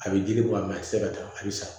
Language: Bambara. A bɛ jiri bɔ a la a tɛ se ka taa hali sa